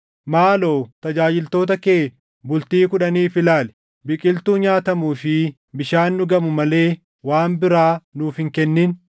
“Maaloo tajaajiltoota kee bultii kudhaniif ilaali; biqiltuu nyaatamuu fi bishaan dhugamu malee waan biraa nuuf hin kennin.